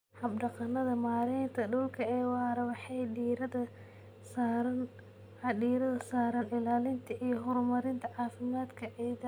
Hab-dhaqannada maaraynta dhulka ee waara waxay diiradda saaraan ilaalinta iyo horumarinta caafimaadka ciidda.